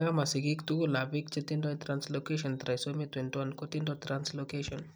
Nkaa, ma sigiik tugulap biik che tindo translocation trisomy 21 kotindo translocation.